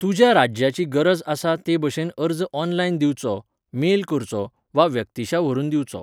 तुज्या राज्याची गरज आसा तेभाशेन अर्ज ऑनलायन दिवचो, मेल करचो, वा व्यक्तिशा व्हरून दिवचो.